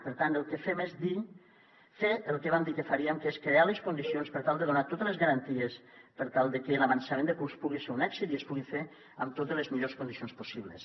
per tant el que fem és fer el que vam dir que faríem que és crear les condicions per tal de donar totes les garanties per tal de que l’avançament de curs pugui ser un èxit i es pugui fer amb totes les millors condicions possibles